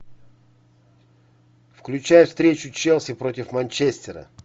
включай встречу челси против манчестера